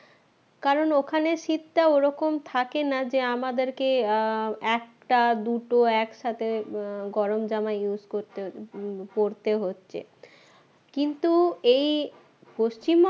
কারণ ওখানে শীতটা ওরকম থাকে না যে আমাদেরকে আহ একটা দুটো একসাথে আহ গরমজামা use করতে উম করতে হচ্ছে কিন্তু এই পশ্চিমবঙ্গে